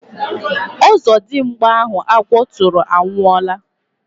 Ọzọdimgba ahụ agwọ tụrụ anwụọla